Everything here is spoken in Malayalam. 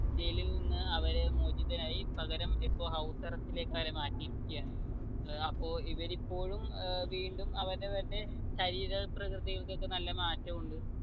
ജയിലിൽ നിന്ന് അവര് മോചിതനായി പകരം ഇപ്പൊ house arrest ലേക്കവരെ മാറ്റിയിരിക്കയാണ് ഏർ അപ്പൊ ഇവരിപ്പോഴും ഏർ വീണ്ടും അവരെ തന്നെ ശരീരപ്രകൃതിയിക്കൊക്കെ നല്ല മാറ്റമുണ്ട്